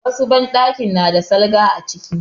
Wasu banɗakin na da salga a ciki.